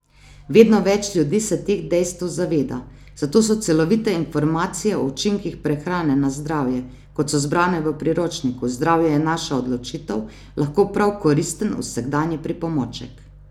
Vedno več ljudi se teh dejstev zaveda, zato so celovite informacije o učinkih prehrane na zdravje, kot so zbrane v priročniku Zdravje je naša odločitev, lahko prav koristen vsakdanji pripomoček.